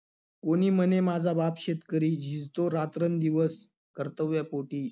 वनी म्हणे माझा बाप शेतकरी, झिजतो रात्रंदिवस कर्तव्यापोटी.